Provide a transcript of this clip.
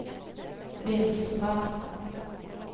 Vinstra